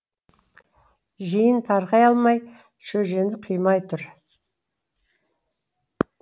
жиын тарқай алмай шөжені қимай тұр